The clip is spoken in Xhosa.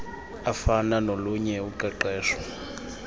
afana nolunye uqeqesho